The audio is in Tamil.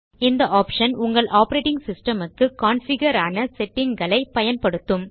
இந்த optionஉங்கள் ஆப்பரேட்டிங் சிஸ்டம் க்கு கான்ஃபிகர் ஆன செட்டிங்ஸ் களை பயன்படுத்தும்